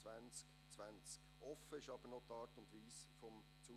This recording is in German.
Die Art und Weise ihres Zugriffs ist allerdings noch offen.